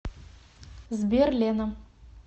сбер лена